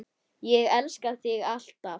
Ég elska þig. alltaf.